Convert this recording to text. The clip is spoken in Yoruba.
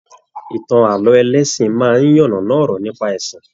Ìtàn ààlọ́ ẹlẹsin máa n yannana ọ̀rọ̀ nípa ẹsìn.